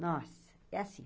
Nossa, é assim.